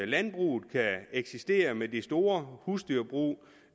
landbruget kan eksistere med de store husdyrbrug